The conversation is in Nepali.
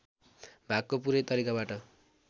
भागको पूरै तरिकाबाट